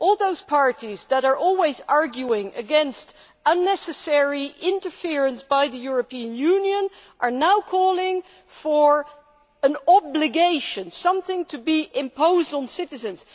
All those parties that are always arguing against unnecessary interference by the European Union are now calling for an obligation, something to be imposed on citizens.